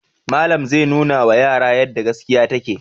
Malam zai nunawa yara yadda gaskiya take.